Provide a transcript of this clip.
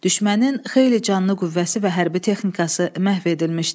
Düşmənin xeyli canlı qüvvəsi və hərbi texnikası məhv edilmişdi.